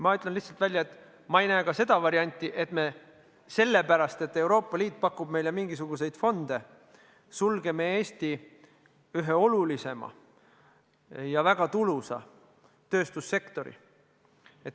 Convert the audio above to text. Ma ütlen lihtsalt välja, et ma ei näe ka seda varianti, et me selle pärast, et Euroopa Liit pakub meile mingisuguseid fonde, sulgeme Eesti ühe olulisima ja väga tulusa tööstussektori.